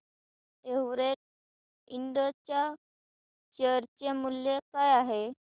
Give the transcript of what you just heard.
Everest इंड च्या share चे मूल्य काय आहे